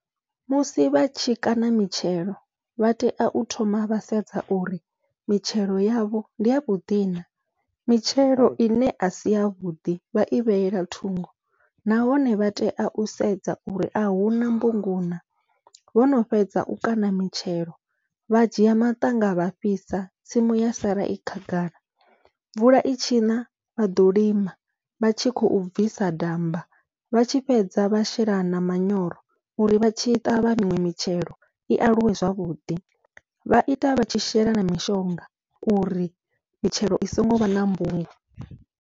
Musi vha tshi kaṋa mitshelo vha tea u thoma vha sedza uri mitshelo yavho ndi yavhuḓi na, mitshelo ine asi yavhuḓi vhai vhetshela thungo nahone vha tea u sedza uri ahuna mbungu na, vhono fhedza u kaṋa mitshelo vha dzhia maṱanga vha fhisa tsimu ya sala i khagala. Mvula itshi na vhaḓo lima vha tshi khou bvisa damba vhatshi fhedza vha shela na manyoro uri vha tshi ṱavha miṅwe mitshelo i aluwe zwavhuḓi, vha ita vha tshi shela na mishonga uri mitshelo i songo vha na mbungu.